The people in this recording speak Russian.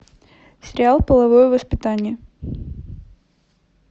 сериал половое воспитание